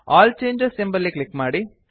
all changes ಎಂಬಲ್ಲಿ click ಮಾಡಿ